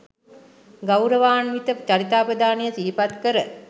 ගෞරවාන්විත චරිතාපදානය සිහිපත් කර